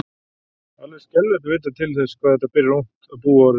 Alveg er skelfilegt að vita til þess hvað þetta byrjar ungt að búa orðið.